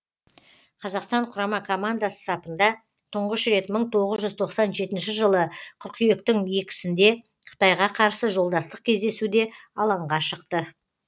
қазақстан құрама командасы сапында тұңғыш рет мың тоғыз жүз тоқсан жетінші жылы қыркүйектің екісінде қытайға қарсы жолдастық кездесуде алаңға шықты